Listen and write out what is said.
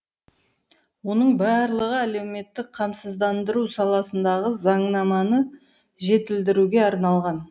оның барлығы әлеуметтік қамсыздандыру саласындағы заңнаманы жетілдіруге арналған